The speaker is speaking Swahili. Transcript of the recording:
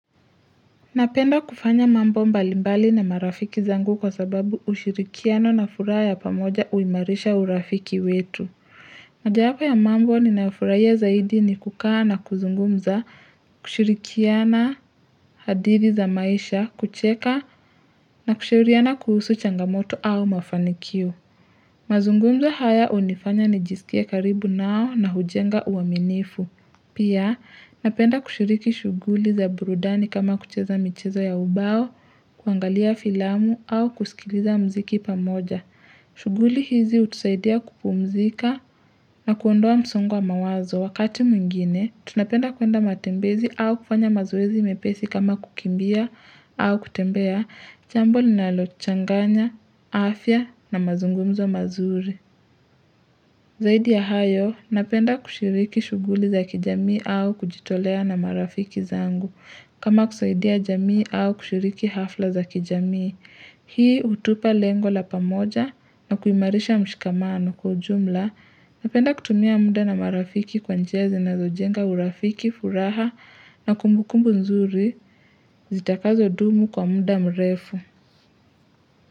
Napenda kufanya mambo mbali mbali na marafiki zangu kwa sababu ushirikiano na furaha ya pamoja uimarisha urafiki wetu. Mojawapo ya mambo ninayofurahia zaidi ni kukaa na kuzungumza, kushirikiana hadithi za maisha, kucheka na kushirikiana kuhusu changamoto au mafanikio. Mazungumzo haya hunifanya nijisikie karibu nao na hujenga uaminifu. Pia napenda kushiriki shughuli za burudani kama kucheza michezo ya ubao, kuangalia filamu au kusikiliza muziki pamoja. Shughuli hizi hutusaidia kupumzika na kuondoa msongo wa mawazo. Wakati mwingine, tunapenda kuenda matembezi au kufanya mazoezi mepesi kama kukimbia au kutembea jambo linalochanganya, afya na mazungumzo mazuri. Zaidi ya hayo, napenda kushiriki shughuli za kijamii au kujitolea na marafiki zangu, kama kusaidia jamii au kushiriki hafla za kijamii. Hii hutupa lengo la pamoja na kuimarisha mshikamano kwa ujumla, napenda kutumia muda na marafiki kwa njia zinazojenga urafiki, furaha na kumbukumbu nzuri, zitakazodumu kwa muda mrefu.